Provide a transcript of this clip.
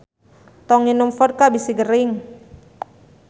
Tong nginum vodka bisi gering